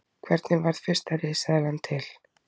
Hvernig varð fyrsta risaeðlan til?